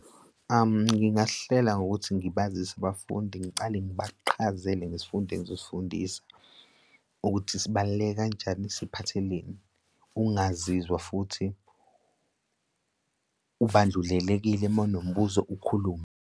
Ngingahlela ngokuthi ngibazise abafundi ngicale ngabaqhazele ngesfundo engizosifundisa ukuthi sibaluleke kanjani siphatheleni. Ukungazizwa futhi ubandlulelekile uma unombuzo ukhulume.